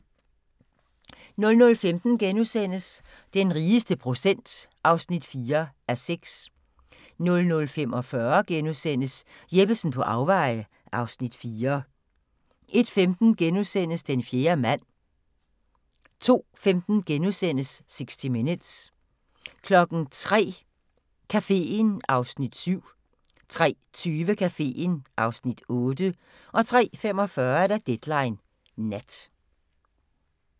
00:15: Den rigeste procent (4:6)* 00:45: Jeppesen på afveje (Afs. 4)* 01:15: Den fjerde mand * 02:15: 60 Minutes * 03:00: Caféen (Afs. 7) 03:20: Caféen (Afs. 8) 03:45: Deadline Nat